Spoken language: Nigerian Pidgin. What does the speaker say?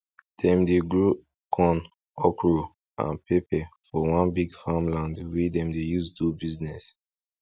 dem dey grow corn okro and pepper for one big farming land wey dem dey use do business